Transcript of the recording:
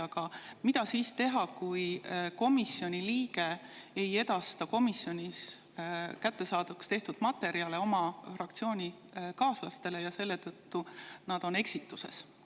Aga mida siis teha, kui komisjoni liige ei edasta komisjonis kättesaadavaks tehtud materjale oma fraktsioonikaaslastele ja selle tõttu on need eksituses?